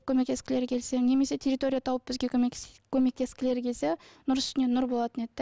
көмектескілері келсе немесе территория тауып бізге көмектескілері келсе нұр үстіне нұр болатын еді де